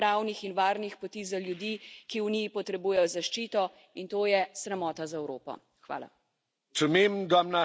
Žal nam ne uspe odpirati pravnih in varnih poti za ljudi, ki v Uniji potrebujejo zaščito, in to je sramota za Evropo.